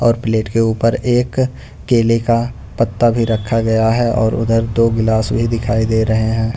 और प्लेट के ऊपर एक केले का पत्ता भी रखा गया है और उधर दो गिलास भी दिखाई दे रहे हैं।